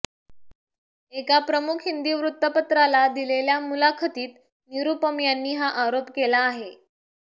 एका प्रमुख हिंदी वृत्तपत्राला दिलेल्या मुलाखतीत निरुपम यांनी हा आरोप केला आहे